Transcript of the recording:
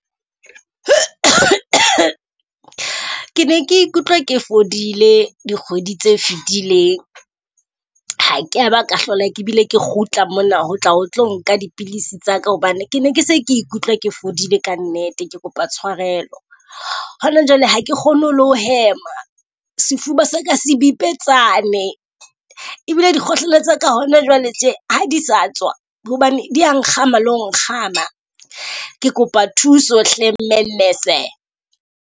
Ke ne ke ikutlwa ke fodile dikgwedi tse fetileng. Ha kea ba ka hlola ke bile ke kgutla mona, ho tla o tlo nka dipilisi tsa ka hobane ke ne ke se ke ikutlwa ke fodile kannete ke kopa tshwarelo. Hona jwale ha ke kgone ho le ho hema, sefuba sa ka se bipetsane e bile dikgohlela tsa ka hona jwale tje ha di sa tswa hobane di ya nkgama lo nkgama. Ke kopa thuso hle mmele nurse-e.